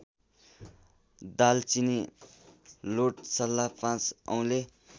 दालचिनी लोठसल्ला पाँचऔँले